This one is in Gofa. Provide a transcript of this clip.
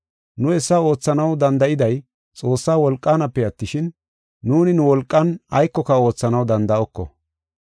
Nu hessa oothanaw danda7iday Xoossaa wolqaanape attishin, nuuni nu wolqan aykoka oothanaw danda7oko.